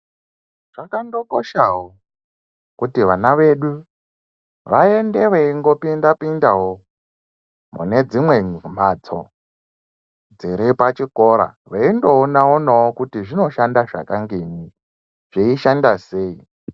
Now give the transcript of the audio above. Zvakandokoshawo kuti vana vedu vaende veingopinda pindawo mune dzimwe mphatso dziri pachikora veindoona onawo kuti zvinoshanda zvakangei zveishanda sei.